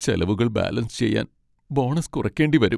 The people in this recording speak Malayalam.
ചെലവുകൾ ബാലൻസ് ചെയ്യാൻ ബോണസ് കുറയ്ക്കേണ്ടി വരും..